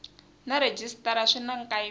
na rhejisitara swi na nkayivelo